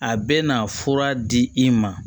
A bɛ na fura di i ma